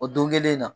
O don kelen in na